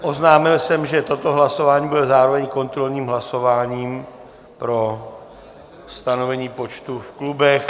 Oznámil jsem, že toto hlasování bylo zároveň kontrolním hlasováním pro stanovení počtu v klubech.